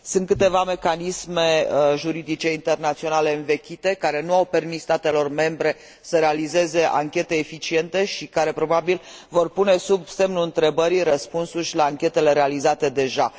Sunt câteva mecanisme juridice internaționale învechite, care nu au permis statelor membre să realizeze anchete eficiente și care, probabil, vor pune sub semnul întrebării răspunsul la anchetele realizate deja.